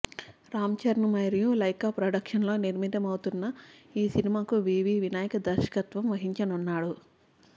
రామ్ చరణ్ మరియు లైకా ప్రొడక్షన్స్లో నిర్మితం అవుతున్న ఈ సినిమాకు వివి వినాయక్ దర్శకత్వం వహించనున్నాడు